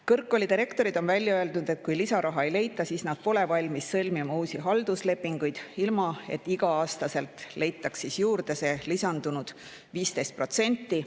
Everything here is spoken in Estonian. Kõrgkoolide rektorid on välja öelnud, et kui lisaraha ei leita, siis nad pole valmis sõlmima uusi halduslepinguid, ilma et iga-aastaselt leitaks juurde 15%.